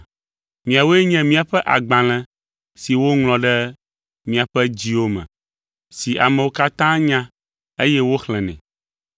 Miawoe nye míaƒe agbalẽ si woŋlɔ ɖe miaƒe dziwo me, si amewo katã nya, eye woxlẽnɛ.